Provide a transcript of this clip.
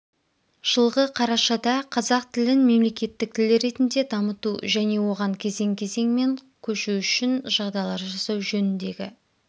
жылғы қарашада қазақ тілін мемлекеттік тіл ретінде дамыту және оған кезең-кезеңмен көшу үшін жағдайлар жасау жөніндегі